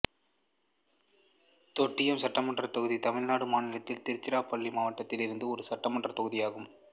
தொட்டியம் சட்டமன்றத் தொகுதி தமிழ்நாடு மாநிலத்தில் திருச்சிராப்பள்ளி மாவட்டத்தில் இருந்த ஒரு சட்டமன்றத் தொகுதி ஆகும்